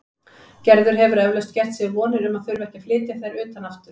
Gerður hefur eflaust gert sér vonir um að þurfa ekki að flytja þær utan aftur.